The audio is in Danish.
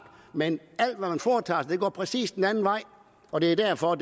men alt hvad man foretager sig går præcis den anden vej og det er derfor